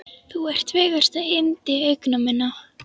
Þú ert fegursta yndi augna minna.